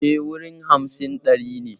E, wuri hamsin ɗin ne.